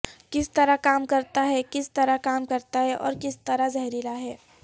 کس طرح کام کرتا ہے کس طرح کام کرتا ہے اور کس طرح زہریلا ہے